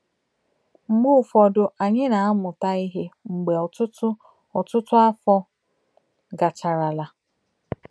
Mgbe ụfọdụ anyị na-amụta ihe mgbe ọtụtụ ọtụtụ afọ gacharala.